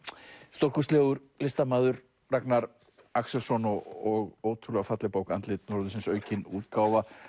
stórkostlegur listamaður Ragnar Axelsson og ótrúlega falleg bók andlit norðursins aukin útgáfa